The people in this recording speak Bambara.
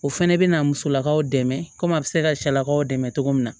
O fɛnɛ bɛna musolakaw dɛmɛ ko a bɛ se ka cɛlakaw dɛmɛ cogo min na